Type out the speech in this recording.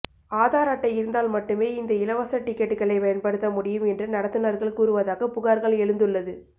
ஆதார் அட்டை இருந்தால் மட்டுமே இந்த இலவச டிக்கெட்டுக்களை பயன்படுத்த முடியும் என்று நடத்துனர்கள் கூறுவதாக புகார்கள் எழுந்துள்ளது